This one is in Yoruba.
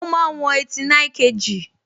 Ó máa ń wọn 89kg